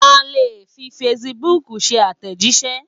A lè fi facebook ṣe àtẹ̀jíṣẹ́.